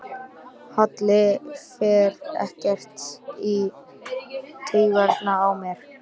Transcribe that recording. Halli fer ekkert í taugarnar á mér.